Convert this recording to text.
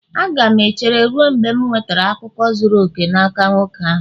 Aga m echere ruo mgbe m nwetara akụkọ zuru oke n'aka nwoke ahụ